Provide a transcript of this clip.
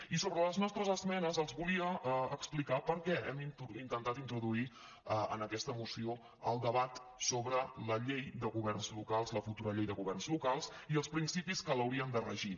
i sobre les nostres esmenes els volia explicar per què hem intentat introduir en aquesta moció el debat sobre la llei de governs locals la futura llei de governs lo·cals i els principis que l’haurien de regir